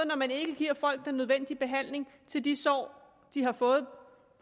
når man ikke giver folk den nødvendige behandling til de sår de har fået